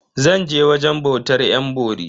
Zan je wajen bautar yan bori.